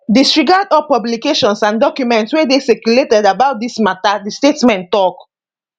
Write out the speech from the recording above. disregard all publications and documents wey dey circulated about dis mata di statement tok